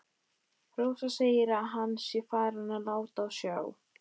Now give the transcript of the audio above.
Rósa segir að hann sé farinn að láta á sjá.